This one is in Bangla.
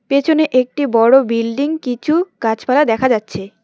পেছনে একটি বড়ো বিল্ডিং কিছু গাছপালা দেখা যাচ্ছে।